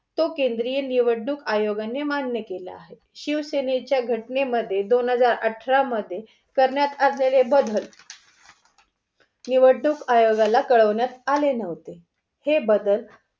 तो केंद्रीय निवडणूक आयोगाने मान्य केला आहे. शिवसेनेच्या घटनेमध्ये दोन हजार अठरा मध्ये करण्यात आलेले बदल निवडणूक आयोगाला कळवण्यात आले नव्हते. हे बदल